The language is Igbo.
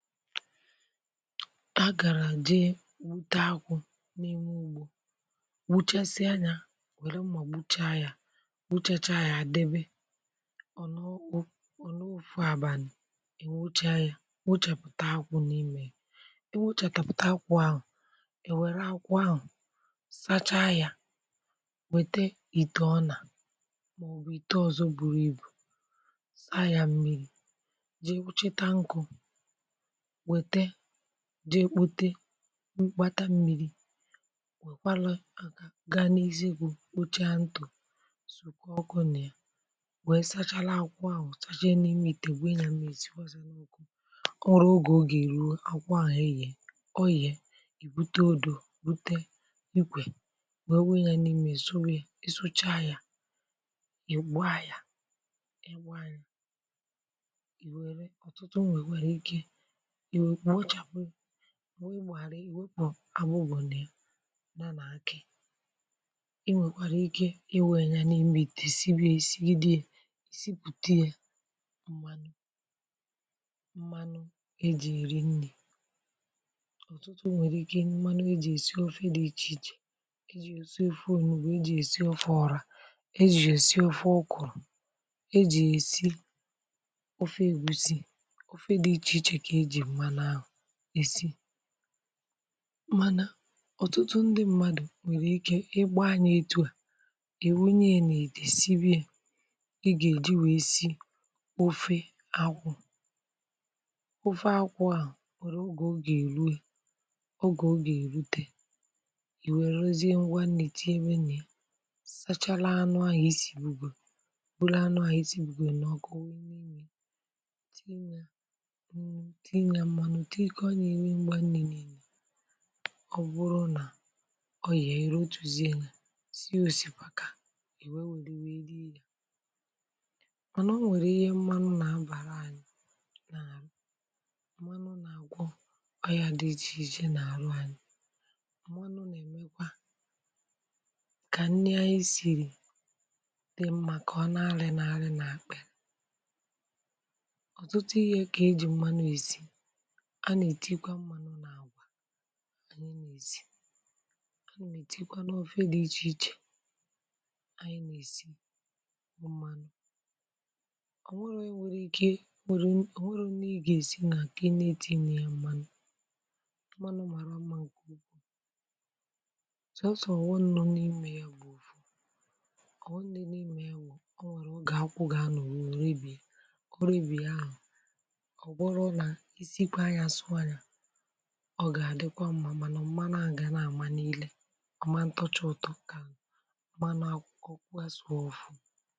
Agàràm jee gbute akwụ̇ n’ime ugbȯ. Gbuchasịa yȧ wère mmà gbuchaa yȧ, gbuchacha yȧ debe, ọ̀ nọo òfu àbàlị̀, è wuchaa yȧ, wuchapụ̀ta akwụ̇ n’ime yȧ, ewuchàtàpụ̀ta akwụ̇ ahụ̀, è wère akwụ̇ ahụ̀ sachaa yȧ wète ite ọnà mà ọbụ̀ ite ọ̀zọ buru ibù saa yȧ mmịrị̇ jee cheta nkụ̇, wète, jee kpute gbata mmiri wekwaru gaa n’izigwu̇ kpochaa ntụ sòkwa ọkụ nà ya, wèe sachala akwụ ahụ̀ ọ̀ sanye a n'imi itè wui yȧ mmiri sikwazia ya, ọ nwere ogè oga eruo, akwụ ahụ̀ eyè, ọ yè, ì bute odò bute ikwè wèe wii yȧ n’imi è suwuyȧ, ị̀ sụcha yȧ, ị̀ gba yȧ, ị̀ wère owèkwèrè ike iwechapù iwepụ àbụbo na ya, ya nà-akị e nwèkwàrà ike i wunyȧ n’imi ite sibia esi gi de ya ìsipùte ye m̀manụ, m̀manụ e jì eri nri̇. Ọtụtụ nwèrè ike m̀manụ e jì esi ofe dị ichè ichè, eji ya esi òfe ọnugbu, e jì ya esi ọfe ọrȧ, ejì ya èsi ọfe ụkụ̀rụ̀, ejì esi ofe ėgwus, ofe dị iche iche ka eji mmanụ ahụ esi. Mana, ọ̀tụtụ ndị mmadù nwèrè ike ịgba anyȧ etu à, iwunye n'ite sibe yȧ, ịga eji wèe si ofe akwụ̇, ofe akwụ à nwèrè oge o gà-èruo oge o gà-èrute, ìwèrezi ngwa nni tinyebe na ya, sachara anụ̇ ahụ̀ isì bùgò bulu anụ̇ ahụ̀ isìbùgò bụrụ anụ ahụ isibugo n'ọkụ tinya mmanụ tinya nnu, tikoonya ihe ngwa niine, ọ bụrụ nà ọ yà-ere irotuzia ya, sie òsìpàkà, i wee wère rie yȧ. Mànà o nwèrè ihe mmȧnụ̇ nà-abàra ȧnyị̇ n'aru, mmȧnụ̇ nà-àgwọ ọyȧ dị ichè ichè nà-àrụ ȧnyị̇, mmȧnụ̇ nà-èmekwa kà nni anyị sìrì di mmȧ koo na-alị̇ na-alị̇ nà-àkpịli, ọtụtụ ihe ka eji mmanụ esi, anà ètịkwa mmànụ nà-àgwa anyị nà-èsi, a nà ètịkwa n’ọfẹ dị̇ ichè ichè anyị nà-èsi, ọ̀manụ, ọ̀ nwere onye nwėrė ike, onwèrè onwere nni ị gà-èsi na kà ịtiri ya mmànụ, mmànụ̀ màrà mmȧ nkè ukwuu sòosò ọghọm no n'ime ya bụ̀ na, ọghọm nọ n'imè ya bụ̀ ọ̀ nwèrè ọ̀ge akwụ gà-anọ̀ruo, orebìe orebie ahụ̀ oburuna esikwa ya sụọ ya, ọ ga-adịkwa mmà màna mmȧnu ahụ ga na-amà n'ilė, ọmạntọcha ụtọ kà mmanụ um asuu ofuu.